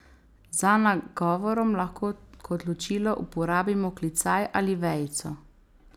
Za nagovorom lahko kot ločilo uporabimo klicaj ali vejico.